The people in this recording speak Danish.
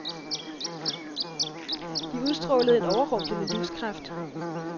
De udstrålede en overrumplende livskraft.